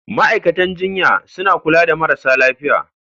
Ma'aikatan jinya suna kula da marasa lafiya.